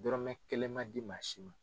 Dɔrɔmɛ kelen man di maa si ma.